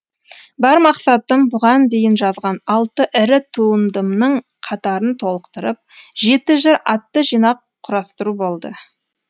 бар мақсатым бұған дейін жазған алты ірі туындымның қатарын толықтырып жеті жыр атты жинақ құрастыру болды